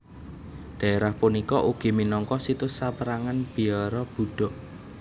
Daerah punika ugi minangka situs sapérangan biara Buddha